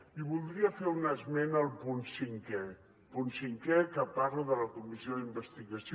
i voldria fer un esment del punt cinquè punt cinquè que parla de la comissió d’investigació